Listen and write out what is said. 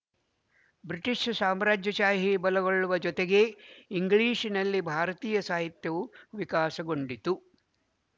British ಸಾಮ್ರಾಜ್ಯಶಾಹಿ ಬಲಗೊಳ್ಳುವುದರ ಜೊತೆಗೇ ಇಂಗ್ಲಿಶಿನಲ್ಲಿ ಭಾರತೀಯ ಸಾಹಿತ್ಯವು ವಿಕಾಸಗೊಂಡಿತು